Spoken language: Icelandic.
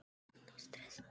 Það hvein í ömmu.